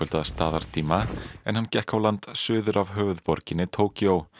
að staðartíma en hann gekk á land suður af höfuðborginni Tókýó